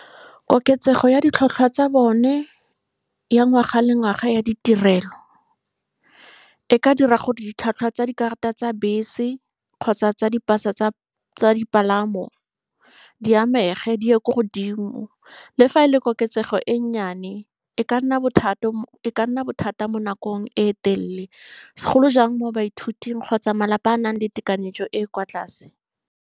Koketsego ya ditlhwatlhwa tsa bone ya ngwaga le ngwaga ya ditirelo e ka dira gore ditlhwatlhwa tsa dikarata tsa bese kgotsa tsa dipasa tsa dipalamo di amege, di ye ko godimo. Le fa e le koketsego e nyenyane, e ka nna e ka nna bothata mo nakong e telele, segolo jang mo baithuting kgotsa malapa a nang le tekanyetso e e kwa tlase.